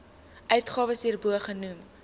uitgawes hierbo genoem